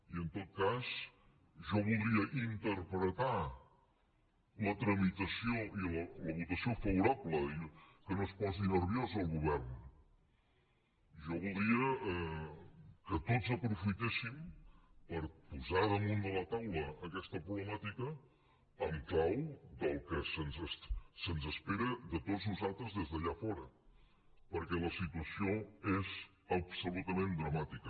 i en tot cas jo voldria interpretar la tramitació i la votació favorable i que no es posi nerviós el govern jo voldria que tots aprofitéssim per posar damunt de la taula aquesta problemàtica en clau del que s’espera de tots nosaltres des d’allà fora perquè la situació és absolutament dramàtica